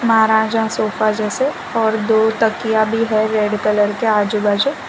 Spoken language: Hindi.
महराजा सोफ़ा जैसे और दो तकिया भी है रेड कलर के आजू बाजू।